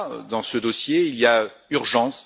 Dans ce dossier, il y a urgence.